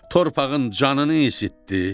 Torpağın canını isitdi.